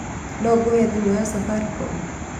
No ngũhe thimũ ya afaricom?